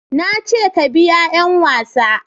na ce ka biya 'yan wasa